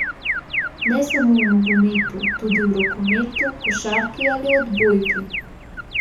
Ne samo v nogometu, tudi v rokometu, košarki ali odbojki.